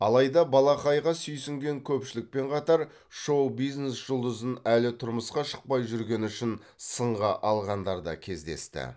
алайда балақайға сүйсінген көпшілікпен қатар шоу бизнес жұлдызын әлі тұрмысқа шықпай жүргені үшін сынға алғандар да кездесті